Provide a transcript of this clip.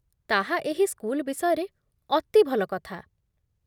ତାହା ଏହି ସ୍କୁଲ ବିଷୟରେ ଅତି ଭଲ କଥା।